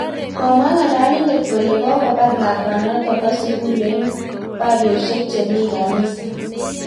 Komwa ng'alalindet kole kokobar lakwanoto bo sugul eng baryosyek chemii kanisa